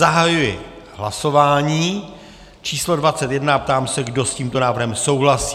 Zahajuji hlasování číslo 21 a ptám se, kdo s tímto návrhem souhlasí.